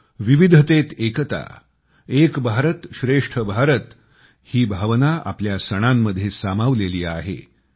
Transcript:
आपले सण विविधतेत एकता एक भारत श्रेष्ठ भारत ही भावना आपल्या सणांमध्ये सामावलेली आहे